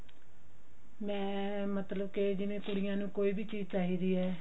ਮੈਂ ਮਤਲਬ ਕਿ ਜਿਵੇਂ ਕੁੜੀਆਂ ਨੂੰ ਕੋਈ ਵੀ ਚੀਜ਼ ਚਾਹੀਦੀ ਹੈ